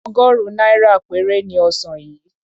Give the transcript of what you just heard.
Ọgọ́rùn-ún náírà péré ni ọsàn yìí.